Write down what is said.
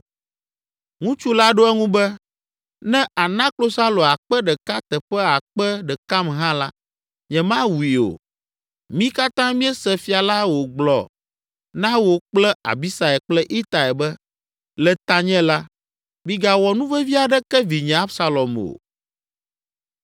Ŋutsu la ɖo eŋu be, “Ne àna klosalo akpe ɖeka teƒe akpe ɖekam hã la, nyemawui o. Mí katã míese fia la wògblɔ na wò kple Abisai kple Itai be, ‘Le tanye la, migawɔ nuvevi aɖeke vinye Absalom o.’